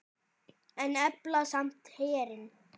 En efla samt herinn.